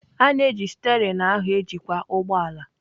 A na-eji steerin ahụ ejikwa ụgbọ ala.